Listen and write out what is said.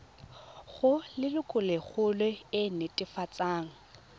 go lelokolegolo e e netefatsang